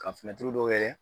Ka finɛtiri dɔw yɛlɛ